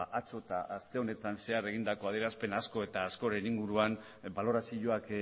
atzo eta aste honetan zehar egindako adierazpen asko eta askoren inguruan balorazioak